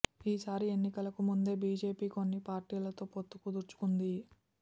ఈ సారి ఎన్నికలకు ముందే బీజేపీ కొన్ని పార్టీలతో పొత్తు కుదుర్చుకుంది